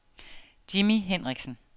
Jimmi Henriksen